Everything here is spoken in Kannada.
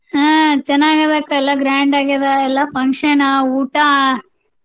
ಹಾ ಚನ್ನಾಗಿದಕ್ಕ ಎಲ್ಲ grand ಆಗಿದ ಎಲ್ಲಾ function ಊಟಾ.